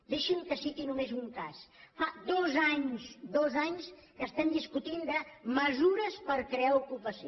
deixi’m que citi només un cas fa dos anys dos anys que estem discutint de mesures per crear ocupació